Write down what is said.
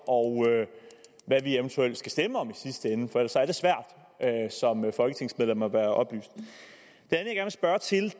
og hvad vi eventuelt skal stemme om i sidste ende for ellers er det svært som folketingsmedlem at være oplyst